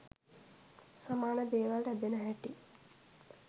සමාන දේවල් ඇදෙන හැටි